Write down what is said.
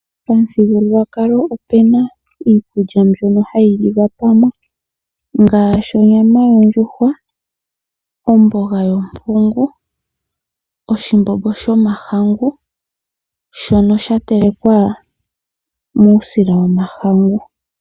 Omuthingululwakalo opena iikulya mbyono hayiliwa pamwe ngashi onyama yondjuhwa, omboga yopungu, oshimbombo shomahangu shono shatelekwa musila womahangu.